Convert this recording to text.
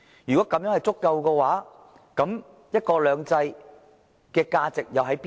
如果是足夠的話，"一國兩制"的價值又在哪裏？